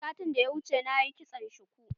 Satin da ya wuce nayi kitson shuku.